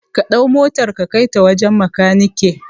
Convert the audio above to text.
Kaɗau motar ka kai ta wajan makaneke